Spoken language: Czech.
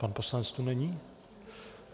Pan poslanec tu není.